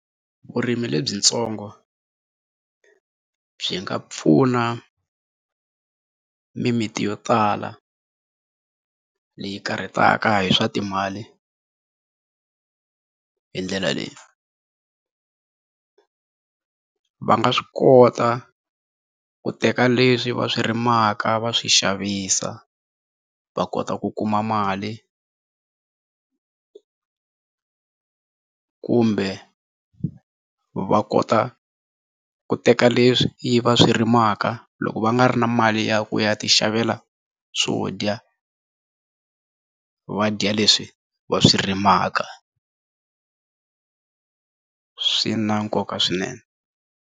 Vurimi lebyitsongo byi nga pfuna mimiti yo tala leyi karhataka hi swa timali hi ndlela leyi, va nga swi kota ku teka leswi va swi rimaka va swi xavisa va kota ku kuma mali kumbe va kota ku teka leswi va swi rimaka loko va nga ri na mali ya ku ya tixavela swo dya va dya leswi va swi rimaka swi na nkoka swinene.